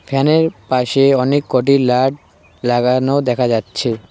ফ্যানের এর পাশে অনেক কটি লাইট লাগানো দেখা যাচ্ছে।